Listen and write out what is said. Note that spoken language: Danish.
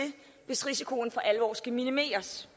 hvis risikoen for alvor skal minimeres